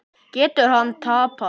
Getur hann tapað!